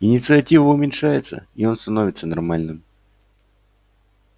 инициатива уменьшается и он становится нормальным